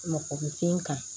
Mɔgɔ bɛ fin kan